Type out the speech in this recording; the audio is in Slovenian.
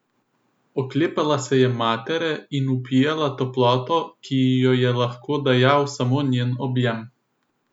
Oklepala se je matere in vpijala toploto, ki ji jo je lahko dajal samo njen objem.